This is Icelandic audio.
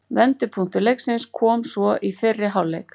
Vendipunktur leiksins kom svo í fyrri hálfleik.